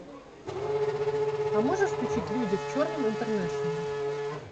а можешь включить люди в черном интернэшнл